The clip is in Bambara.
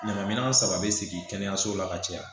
Ɲama minɛn saba be sigi kɛnɛyaso la ka caya